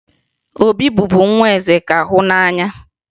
Obi bụbu nwa eze ka hụ n'anya